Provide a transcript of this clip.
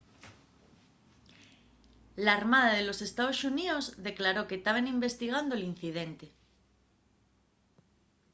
l'armada de los ee.xx declaró que taben investigando l'incidente